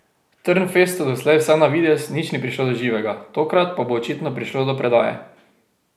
Trnfestu doslej vsaj na videz nič ni prišlo do živega, tokrat pa bo očitno prišlo do predaje.